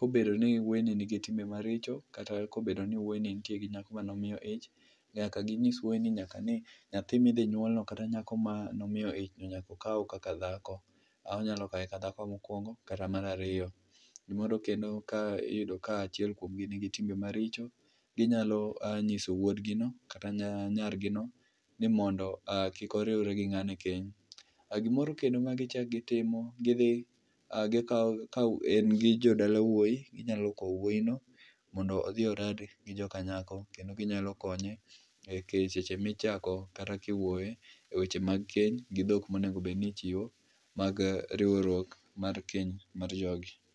Kobedo ni wuoyini nigi timbe maricho, kata kobedo ni wuoyi nitie gi nyako manomiyo ich, nyaka ginyis wuoyini ni nyaka ni nyathi midhinyuolno kata nyako mano miyo ich nyaka okaw kaka dhako, onyalo kawe ka dhako mokwongo, kata mar aricho. Moro kendo, ka iyudo ka achiel kuomgi nigi timbe maricho, inyalo nyiso wuodgino kata nyargino ni mondo kik oriwre gi ng'ani i keny. Gimoro kendo magichako gitimo gidhi gikawo ,ka en gi jodala wuoyi, nyalo kowo wuoyino, mondo odhi orad gi joka nyako kendo ginyalo konye e seche michako kata kiwuoyo e weche mag keny gi dhok monego bed nichiwo mag riwruok mar keny mar jogi.